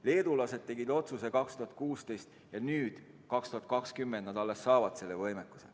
Leedulased tegid otsuse 2016 ja nüüd, 2020, nad alles saavad selle võimekuse.